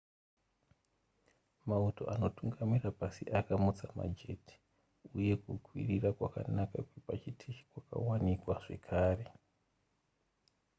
mauto anotungamira pasi akamutsa majeti uye kukwirira kwakanaka kwepachiteshi kwakawanikwa zvakare